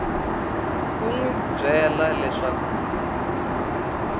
ku n wi byela leswaku